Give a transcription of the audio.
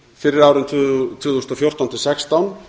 fyrir árin tvö þúsund og fjórtán til sextán